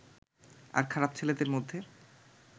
আর খারাপ ছেলেদের মধ্যে